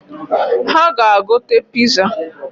Ha ga-agote piza